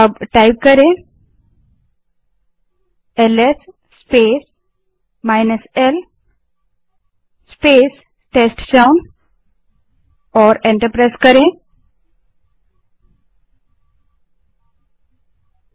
अब LS space l space t e s t c h o w N type करें और enter दबायें